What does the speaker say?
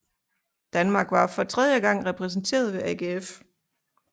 Danmark var for tredje gang repræsenteret ved AGF